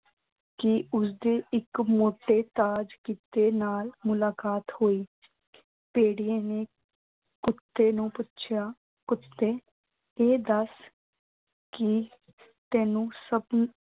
ਕਿ ਉਸਦੀ ਇੱਕ ਮੋਟੇ ਕੁੱਤੇ ਨਾਲ ਮੁਲਾਕਾਤ ਹੋਈ। ਭੇੜੀਏ ਨੇ ਕੁੱਤੇ ਨੂੰ ਪੁੱਛਿਆ ਕਿ ਕੁੱਤੇ ਇਹ ਦੱਸ ਕਿ ਤੈਨੂੰ ਸਭ